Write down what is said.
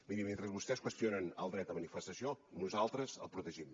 miri mentre vostès qüestionen el dret a manifestació nosaltres el protegim